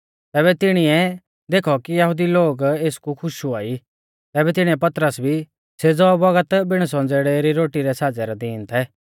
ज़ैबै तिणीऐ देखौ कि यहुदी लोग एसकु खुश हुआई तैबै तिणीऐ पतरस भी सेज़ौ बौगत अण संज़ेड़ै री रोटी रै साज़ै रै दीन थै